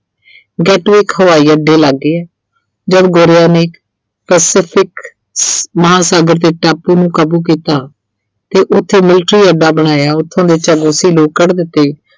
ਇੱਕ ਹਵਾਈ ਅੱਡੇ ਲਾਗੇ ਐ ਜਦ ਗੋਰਿਆਂ ਨੇ specific ਮਹਾਂਸਾਗਰ ਤੇ ਟਾਪੂ ਨੂੰ ਕਾਬੂ ਕੀਤਾ ਤੇ ਉੱਥੇ military ਅੱਡਾ ਬਣਾਇਆ ਉੱਥੋਂ ਦੇ ਲੋਕ ਕੱਢ ਦਿੱਤੇ।